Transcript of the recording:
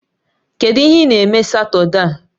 Kedu ihe ị na-eme Satọde a?